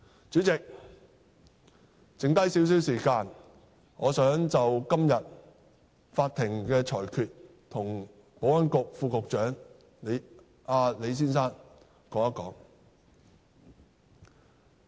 主席，還剩下少許時間，我想就今天法院的裁決向保安局副局長李先生表達一下意見。